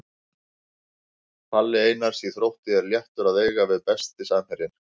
Palli Einars í Þrótti er léttur að eiga við Besti samherjinn?